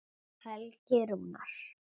Helgi Rúnar.